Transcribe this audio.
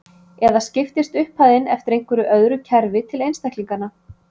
Eða skiptist upphæðin eftir einhverju öðru kerfi til einstaklinganna.